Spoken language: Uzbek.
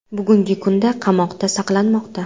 bugungi kunda qamoqda saqlanmoqda.